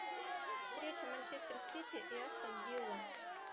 встреча манчестер сити и астон вилла